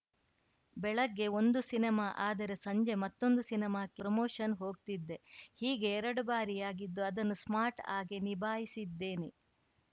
ಬೆಳಗ್ಗೆ ಒಂದು ಸಿನಿಮಾ ಆದರೆ ಸಂಜೆ ಮತ್ತೊಂದು ಸಿನಿಮಾಕ್ಕೆ ಪ್ರಮೋಷನ್‌ಗೆ ಹೋಗ್ತಿದ್ದೆ ಹೀಗೆ ಎರಡು ಬಾರಿಯಾಗಿದ್ದು ಅದನ್ನು ಸ್ಮಾರ್ಟ್‌ ಆಗೇ ನಿಭಾಯಿಸಿದ್ದೇನೆ